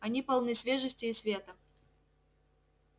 они полны свежести и света